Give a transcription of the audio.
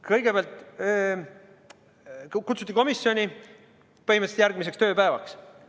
Kõigepealt kutsuti mind komisjoni põhimõtteliselt järgmiseks tööpäevaks.